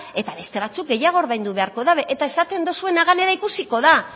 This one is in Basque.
eta beste batzuk gehiago ordaindu beharko dabe eta esaten duzuena gainera ikusiko da